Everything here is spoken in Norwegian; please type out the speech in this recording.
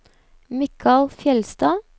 Mikael Fjeldstad